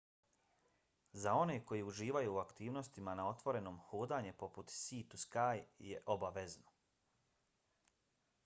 za one koji uživaju u aktivnostima na otvorenom hodanje putem sea-to-sky je obavezno